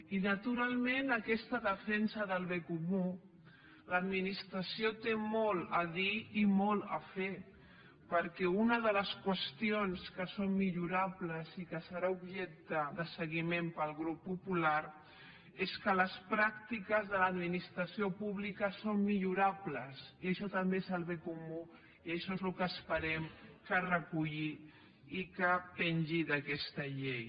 i naturalment en aquesta defensa del bé comú l’administració hi té molt a dir i molt a fer perquè una de les qüestions que són millorables i que serà objecte de seguiment pel grup popular és que les pràctiques de l’administració pública són millorables i això també és el bé comú i això és el que esperem que es reculli i que pengi d’aquesta llei